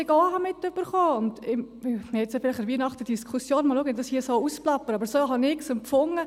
Wir werden an Weihnachten nun zwar eine Diskussion haben, weil ich das hier ausplappere, aber so habe ich es empfunden.